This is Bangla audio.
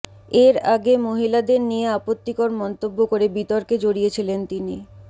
এর আগে মহিলাদের নিয়ে আপত্তিকর মন্তব্য করে বিতর্কে জড়িয়েছিলেন তিনি